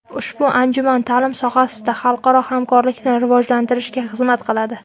Ushbu anjuman ta’lim sohasida xalqaro hamkorlikni rivojlantirishga xizmat qiladi.